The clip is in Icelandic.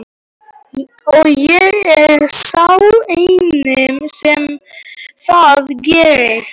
Og ég er sá eini sem það gerir.